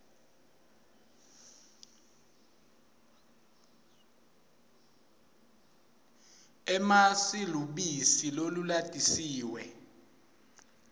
emasi lubisi lolulatisiwe